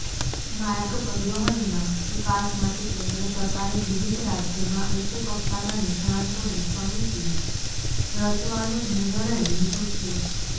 માર્ગ પરિવહનના વિકાસ માટે કેન્દ્ર સરકારે વિવિધ રાજયોમાં ઉચ્ચકક્ષાના નિષ્ણાંતોની સમીતી રચવાનો નિર્ણય લીધો છે